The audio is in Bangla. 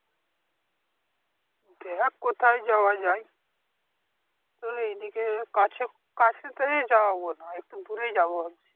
দেখ কোথায় যাওয়া যায় তাহলে এইদিকে কাছে কাছেতে যাব না একটু দূরে যাব ভাবছি।